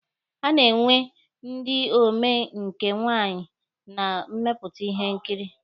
A na-enwe ndị omee nke nwaanyị na mmepụta ihe nkiri.